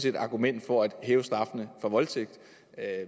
et argument for at hæve straffen for voldtægt